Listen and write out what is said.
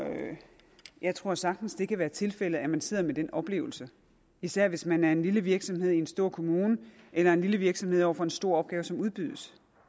jeg tror sagtens det kan være tilfældet at man sidder med den oplevelse især hvis man er en lille virksomhed i en stor kommune eller en lille virksomhed over for en stor opgave som udbydes